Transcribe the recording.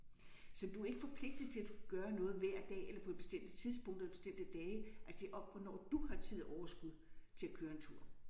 Så du er ikke forpligtet til at du skal gøre noget hver dag eller på et bestemte tidspunkter eller på bestemte dage altså det er om hvornår du har tid og overskud til at køre en tur